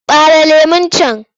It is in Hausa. Ɓare lemon can!